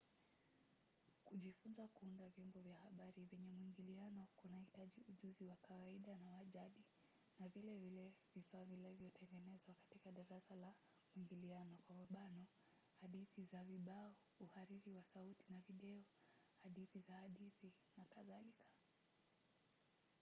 kujifunza kuunda vyombo vya habari vyenye mwingiliano kunahitaji ujuzi wa kawaida na wa jadi na vile vile vifaa vilivyotengenezwa katika darasa la mwingiliano hadithi za vibao uhariri wa sauti na video hadithi za hadithi nk.